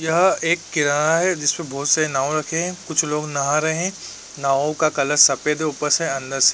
यह एक किनारा है। जिसपे बोहोत से नाव रखे हैं। कुछ लोग नहा रहे हैं। नाव का कलर सफ़ेद है ऊपर से अंदर से --